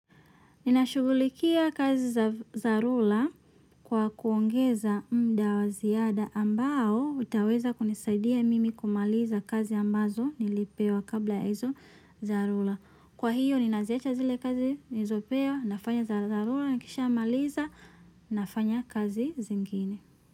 Ninashughulikia kazi za dharura kwa kuongeza muda wa ziada ambao utaweza kunisaidia mimi kumaliza kazi ambazo nilipewa kabla ya hizo dharura. Kwa hiyo ninaziacha zile kazi nilizopewa nafanya za dharura nikishamaliza nafanya kazi zingine.